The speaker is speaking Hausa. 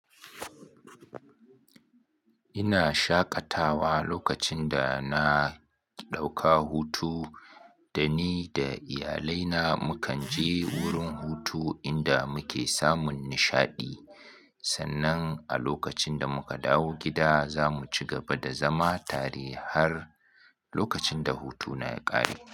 Ina shaƙatawa lokacin da na ɗauka hutu da ni da iyalai na mu kan je wurin hutu inda muke samun nishaɗi. Sannan a lokacin da muka dawo gida za mu cigaba da zama tare har lokacin da hutu na ya ƙare.